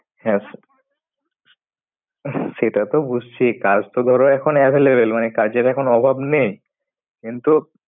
হ্যাঁ, স্যা। সেটা তো বুঝছি। কাজ তো ধরো এখন available । মানে কাজের এখন অভাব নেই। কিন্তু,